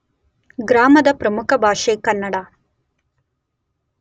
ಗ್ರಾಮದ ಪ್ರಮುಖ ಭಾಷೆ ಕನ್ನಡ.